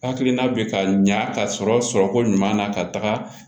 Hakilina bɛ ka ɲa ka sɔrɔ sɔrɔko ɲuman na ka taga